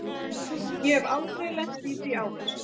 Ég hef aldrei lent í því áður.